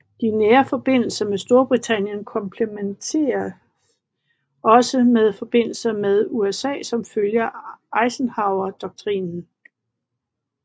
De nære forbindelser med Storbritannien kompletteredes også med forbindelser med USA som følge af Eisenhowerdoktrinen